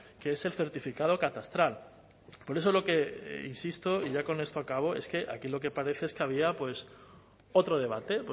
que es el certificado catastral por eso lo que insisto y ya con esto acabo es que aquí lo que parece es que había otro debate